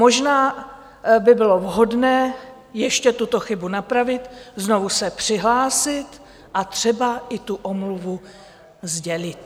Možná by bylo vhodné ještě tuto chybu napravit, znovu se přihlásit a třeba i tu omluvu sdělit.